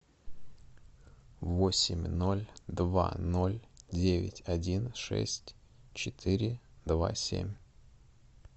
восемь ноль два ноль девять один шесть четыре два семь